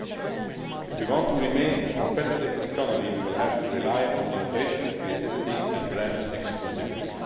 Indeed, if we want to remain a competitive economy, we will have to rely on innovation, creativity and brand exclusivity.